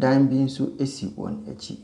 Dan bi nso si wɔn akyi.